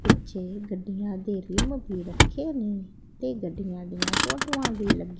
ਪਿੱਛੇ ਗੱਡੀਆਂ ਦੇ ਵੀ ਰੱਖੇ ਨੇ ਤੇ ਗੱਡੀਆਂ ਦੀਆਂ ਫੋਟੋਆਂ ਵੀ ਲੱਗੀ--